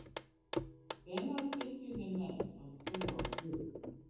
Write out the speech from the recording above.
Hvenær byrjuðu menn að trúa á guð?